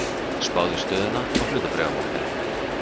Spáð í stöðuna á hlutabréfamarkaði.